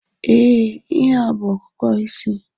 Ee, ihe a bú okooko osisi.